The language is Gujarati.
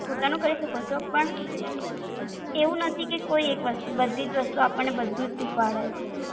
પોતાનું કરી શકો છો, પણ એવું નથી કે કોઈ એક વસ્તુ બધી જ વસ્તુ આપણને બધું જ શીખવાડે છે.